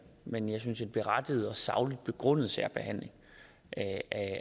men jeg synes en berettiget og sagligt begrundet særbehandling